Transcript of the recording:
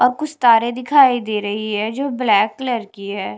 अब कुछ तारे दिखाई दे रही है जो ब्लैक कलर की है।